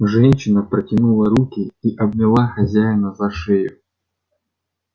женщина протянула руки и обняла хозяина за шею